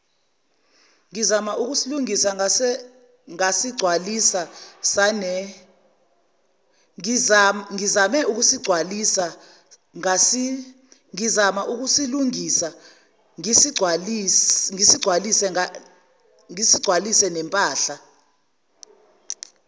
ngizama ukusilungisa ngasigcwalisanempahla